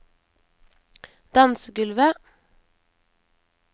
dansegulvet